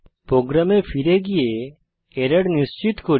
প্রোগ্রামে ফিরে গিয়ে এরর নিশ্চিত করি